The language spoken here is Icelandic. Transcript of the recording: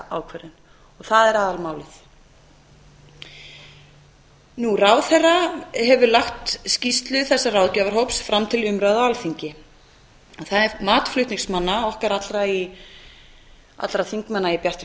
ákvörðun og það er aðalmálið ráðherra hefur lagt skýrslu þessa ráðgjafarhóps fram til umræðu á alþingi það er mat flutningsmanna okkar allra þingmanna í bjartri